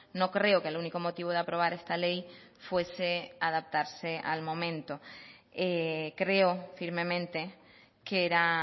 no creo que el único motivo de aprobar esta ley fuese adaptarse al momento creo firmemente que era